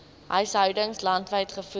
huishoudings landwyd gevoer